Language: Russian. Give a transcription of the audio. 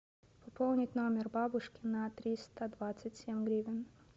пополнить номер бабушки на триста двадцать семь гривен